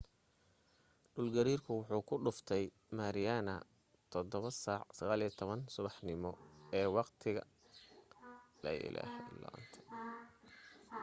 dhulgariirku wuxuu ku dhuftay mariana 07:19 subaxnimo ee waqtiga maxalliga ah 09:19 fiidnimo. gmt jimcaha